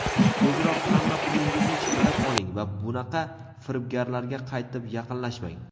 tezroq hamma pulingizni chiqarib oling va bunaqa firibgarlarga qaytib yaqinlashmang.